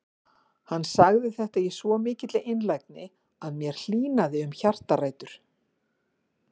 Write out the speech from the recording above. Hann sagði þetta í svo mikilli einlægni að mér hlýnaði um hjartarætur.